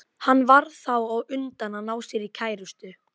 Styr, slökktu á þessu eftir áttatíu mínútur.